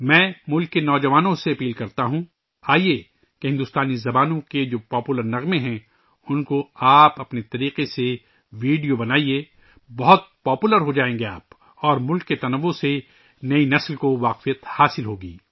میں ملک کے نوجوانوں سے اپیل کرتا ہوں، آئیے اپنے طریقے سے بھارتی زبانوں کے مقبول گانوں کی ویڈیو بنائیں، آپ بہت مقبول ہوجائیں گے اور ملک کے تنوع سے نئی نسل متعارف ہو گی